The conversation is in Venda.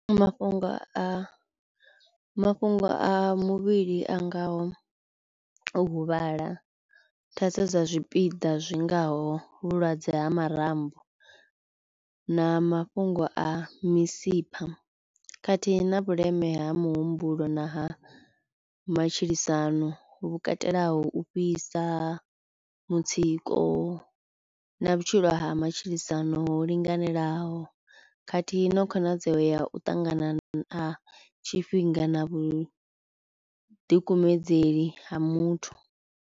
Mafhungo a mafhungo a muvhili a ngaho u huvhala, thaidzo dza zwipiḓa zwingaho vhulwadze ha marambo na mafhungo a misipha khathihi na vhuleme ha muhumbulo na ha matshilisano vhu katelaho u fhisa, mutsiko na vhutshilo ha matshilisano ho linganelaho khathihi na khonadzeo ya u ṱangana na tshifhinga na vhu ḓikumedzeli ha muthu.